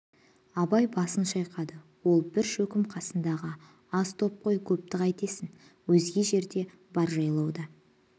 абай басын шайқады ол бір шөкім қасындағы аз топ қой көпті қайтесің өзге жерде бар жайлауда